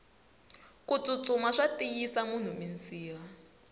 kutsutsuma swa tiyisa munhu minsiha